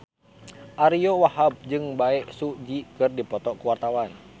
Ariyo Wahab jeung Bae Su Ji keur dipoto ku wartawan